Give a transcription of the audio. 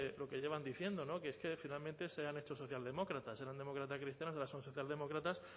lo que llevan diciendo que es que finalmente sean estos socialdemócratas sean demócratas cristianos o social demócratas